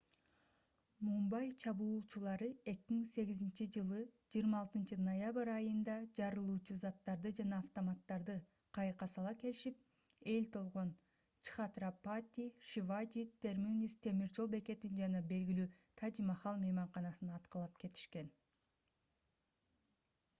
мумбай чабуулчулары 2008-ж 26-ноябрь айында жарылуучу заттарды жана автоматтарды кайыкка сала келишип эл толгон чхатрапати шиважи терминус темир жол бекетин жана белгилүү тадж-махал мейманканасын аткылап кетишкен